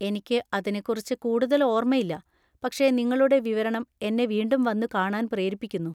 എനിക്ക് അതിനെക്കുറിച്ച് കൂടുതൽ ഓർമ്മയില്ല, പക്ഷേ നിങ്ങളുടെ വിവരണം എന്നെ വീണ്ടും വന്നുകാണാന്‍ പ്രേരിപ്പിക്കുന്നു.